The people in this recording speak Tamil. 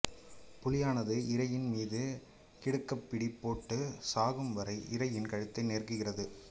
புலியானது இரையின் மீது கிடுக்குப்பிடி போட்டுச் சாகும்வரை இரையின் கழுத்தை நெருக்குகிறது